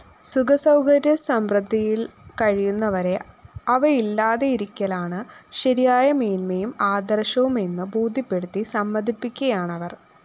സുഖസൗകര്യസമൃദ്ധിയില്‍ കഴിയുന്നവരെ അവയില്ലാതിരിയ്ക്കലാണ് ശരിയായ മേന്മയും ആദര്‍ശവുമെന്നു ബോധ്യപ്പെടുത്തി സമ്മതിപ്പിക്കയാണവര്‍